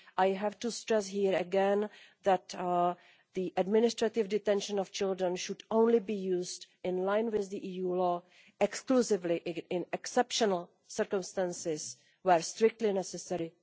I have to stress here, again, that the administrative detention of children should only be used, in line with EU law, exclusively in exceptional circumstances and where strictly necessary.